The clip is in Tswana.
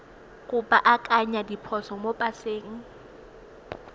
go baakanya diphoso mo paseng